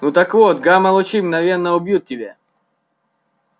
ну так вот гамма лучи мгновенно убьют тебя